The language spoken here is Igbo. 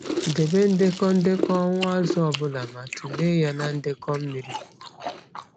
Debe ndekọ ndekọ ọnwụ azụ ọbụla ma tụlee ya na ndekọ mmiri.